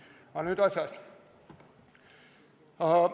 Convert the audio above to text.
Aga nüüd asjast.